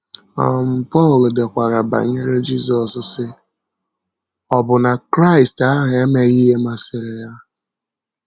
um Pọl dekwara banyere Jízọs, sị: “Ọbụ́nà Kraịst ahụ emeghị ihe masịrị ya.”